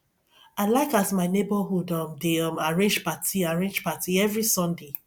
i dey like as my neborhood um dey um arrange party arrange party every sunday